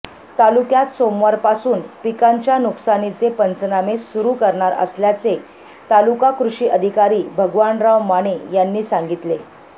तालुक्यात सोमवारपासून पिकांच्या नुकसानीचे पंचनामे सुरू करणार असल्याचे तालुका कृषि अधिकारी भगवानराव माने यांनी सांगितले